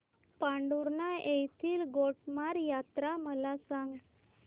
पांढुर्णा येथील गोटमार यात्रा मला सांग